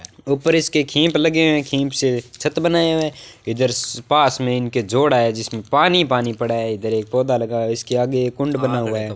ऊपर इसके खींप लगी हुई है खींप से छत बनाया हुआ है इधर पास में इनके झोड़ा है पानी-पानी पड़ा है इधर एक पौधा लगा है इसके आगे कुंड बना हुआ है।